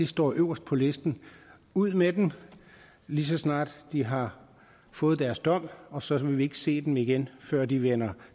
står øverst på listen ud med dem lige så snart de har fået deres dom og så vil vi ikke se dem igen før de vender